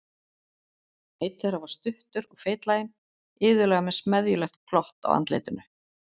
Einn þeirra var stuttur og feitlaginn, iðulega með smeðjulegt glott á andlitinu.